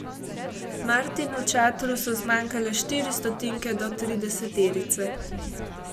Martinu Čatru so zmanjkale štiri stotinke do trideseterice.